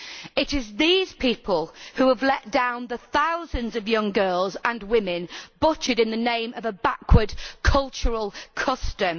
It is these people who have let down the thousands of young girls and women butchered in the name of a backward cultural custom.